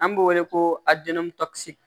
An b'o wele ko